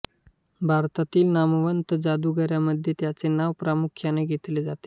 भारतातील नामवंत जादूगारामधे त्यांचे नाव प्रामुख्याने घेतले जाते